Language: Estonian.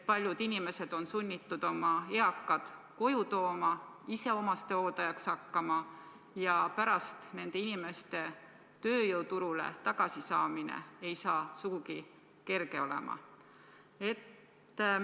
Paljud inimesed on sunnitud oma eakad koju tooma, ise omastehooldajaks hakkama, ja nende inimeste pärast tööjõuturule tagasi saamine ei saa sugugi kerge olema.